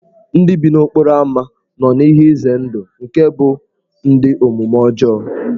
Ndị bi n'okporo ámá nọ n'ihe ize ndụ nke ịbụ ndị omume ọjọọ.